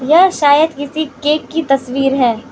यह शायद किसी केक की तस्वीर हैं।